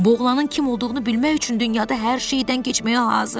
Boğlanın kim olduğunu bilmək üçün dünyada hər şeydən keçməyə hazıram.